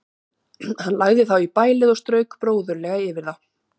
Hann lagði þá í bælið og strauk bróðurlega yfir þá.